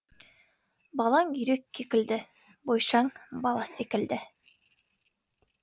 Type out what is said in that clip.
балаң үйрек кекілді бойшаң бала секілді